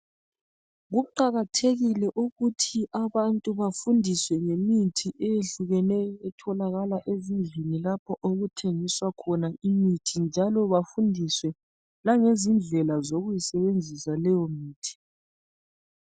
Kuqakathekile ukuthi abantu bafundiswe ngemithi eyehlukeneyo etholakala ezindlini lapho okuthengiswa khona imithi njalo bafundiswe langendlela zaleyo mithi